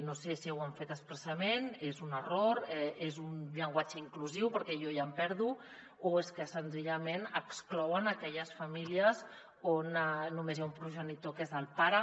no sé si ho han fet expressament és un error és un llenguatge inclusiu perquè jo ja em perdo o és que senzillament exclouen aquelles famílies on només hi ha un progenitor que és el pare